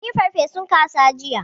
Mun yi farfesun kaza jiya